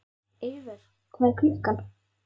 Eivör, hvað er klukkan?